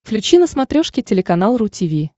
включи на смотрешке телеканал ру ти ви